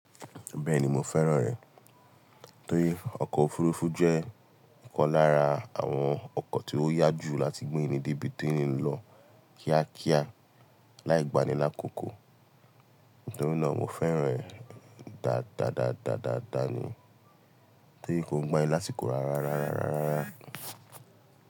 Bẹ́ẹ̀ni mo fẹ́ràn rẹ̀. Torí ọkọ̀ òfurufú jẹ́ ọ̀kan lára àwọn ọkọ̀ tí ó yá jù láti gbé ènìyàn débi tí ń lọ kíákíá láì gbanilákòókò. Nítorí náà mo fẹ́ràn rẹ̀ dáadáa ni. Torí kò ń gbanilásíkò rárá.